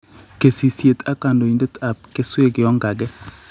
KESISYET AK KANDOINDET AP KESWEK YON KAGEGES